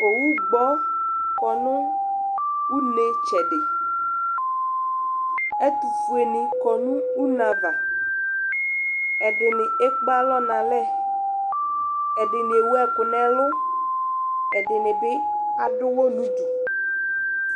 ɔwʋ gbɔ kɔnʋ ʋnɛ tsɛdi, ɛtʋƒʋɛ ni kɔnʋ ʋnɛ aɣa, ɛdini ɛkpè alɔ nʋ alɛ, ɛdini ɛwʋ ɛkʋ nʋ ɛlʋ, ɛdinibi adʋ ʋwɔ nʋdʋ